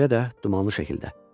Belə də, dumanlı şəkildə.